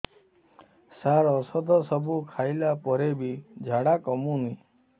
ସାର ଔଷଧ ସବୁ ଖାଇଲା ପରେ ବି ଝାଡା କମୁନି